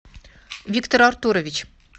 виктор артурович